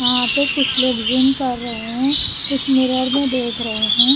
यहां पे कुछ लोग ज़िम कर रहे हैं कुछ मिरर मे देख रहे हैं।